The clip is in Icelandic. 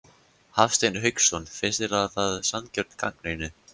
Hafsteinn Hauksson: Finnst þér það sanngjörn gagnrýni?